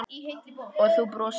Og þú brosir.